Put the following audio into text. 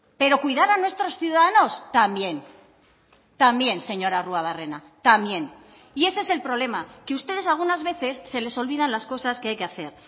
pero cuidar a nuestros ciudadanos también también señor arruabarrena también y ese es el problema que ustedes algunas veces se les olvidan las cosas que hay que hacer